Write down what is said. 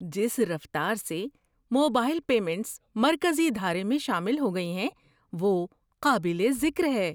جس رفتار سے موبائل پیمنٹس مرکزی دھارے میں شامل ہو گئی ہیں وہ قابل ذکر ہے۔